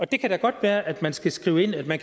det kan da godt være at man skal skrive ind at man